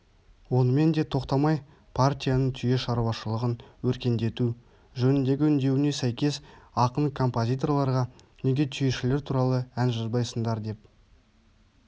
онымен де тоқтамай партияның түйе шаруашылығын өркендету жөніндегі үндеуіне сәйкес ақын композиторларға неге түйешілер туралы ән жазбайсыңдар деп